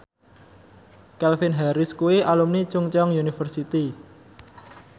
Calvin Harris kuwi alumni Chungceong University